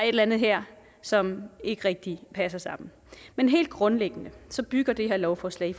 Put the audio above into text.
eller andet her som ikke rigtig passer sammen men helt grundlæggende bygger det her lovforslag i